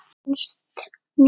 Finnst mér.